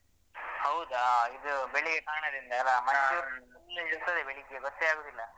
ಹೌದಾ ಇದು ಬೆಳಿಗ್ಗೆ ಕಾಣದಿಂದ ಅಲಾ ಮಂಜು full ಇರ್ತದೆ ಬೆಳಿಗ್ಗೆ ಗೊತ್ತೇ ಆಗುದಿಲ್ಲ.